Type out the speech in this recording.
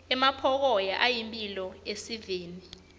emampokoya ayimphilo esiveni